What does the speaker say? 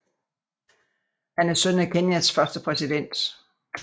Han er søn af Kenyas første præsident